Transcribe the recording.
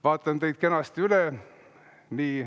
Vaatan teid kenasti üle.